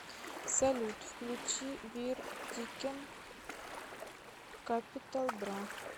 салют включи вир тикен капитал бра